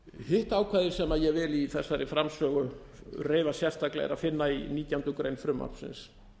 hitt ákvæði sem ég vil í þessari framsögu reifa sérstaklega er að finna í nítjánda grein frumvarpsins